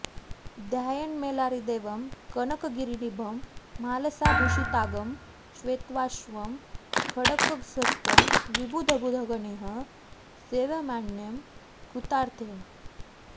ध्यायेन्मल्लारिदेवं कनकगिरीनिभं म्हालसाभूषिताङ्कं श्वेताश्वं खड्गहस्तं विबुधबुधगणैः सेव्यमानं कृतार्थैः